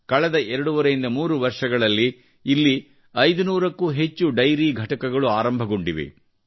ಕಳೆದ ಎರಡೂವರೆಯಿಂದ 3 ವರ್ಷಗಳಲ್ಲಿ ಇಲ್ಲಿ 500ಕ್ಕೂ ಹೆಚ್ಚು ಡೈರಿ ಘಟಕಗಳು ಆರಂಭಗೊಂಡಿವೆ